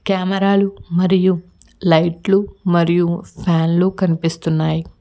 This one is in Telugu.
కెమెర లు మరియు లైట్ లు మరియు ఫ్యాన్ లు కనిపిస్తున్నాయ్.